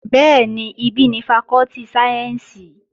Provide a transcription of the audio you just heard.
Bẹ́ẹ̀ni, ibí ni fakọ́tì sáyẹ́ǹsì